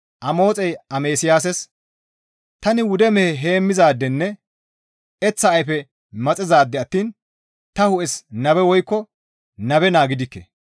Amoxey Amasiyaasas, «Tani wude mehe heemmizaadenne eththa ayfe maxizaade attiin ta hu7es nabe woykko nabe naa gidikke.